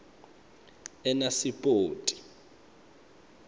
enasipoti